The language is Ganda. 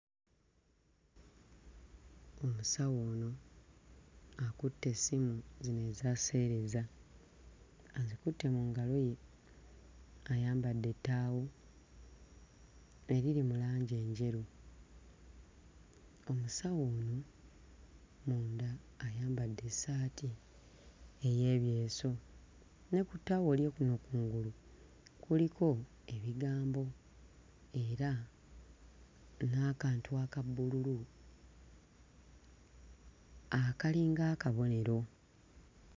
Omusawo akutte essimu zino eza sseereza azikutte mu ngalo ye ayambadde ettaawo eriri mu langi enjeru omusawo ono munda ayambadde essaati ey'ebyeso ne ku ttaawo lye kuno kungulu kuliko ebigambo era n'akantu aka bbululu akalinga akabonero.